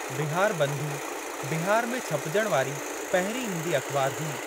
बिहारबंधु' बिहार में छपिजण वारी पहिरीं हिंदी अख़बार हुई।